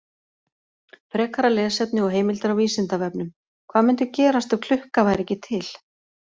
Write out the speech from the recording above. Frekara lesefni og heimildir á Vísindavefnum: Hvað mundi gerast ef klukka væri ekki til?